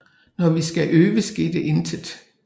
Når vi skulle øve skete intet